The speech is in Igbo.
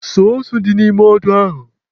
Suo ose dị n'ime odo ahụ.